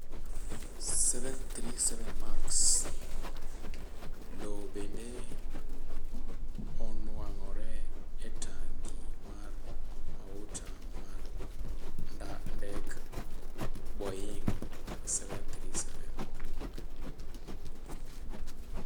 737 Max: Lowo bende onwang'ore e tangi mar mauta mar ndek Boeing' 737.